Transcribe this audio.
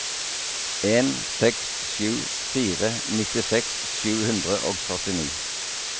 en seks sju fire nittiseks sju hundre og førtini